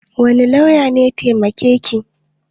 Wane lauya ne taimake ki?